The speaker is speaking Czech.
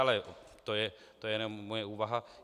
Ale to je jenom moje úvaha.